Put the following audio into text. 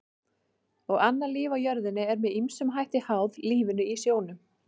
Og annað líf á jörðinni er með ýmsum hætti háð lífinu í sjónum.